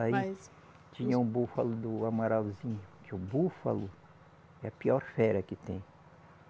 Aí, Mas. Tinha um búfalo do Amaralzinho, que o búfalo é a pior fera que tem.